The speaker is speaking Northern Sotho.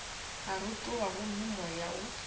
a rotoga gomme moya wo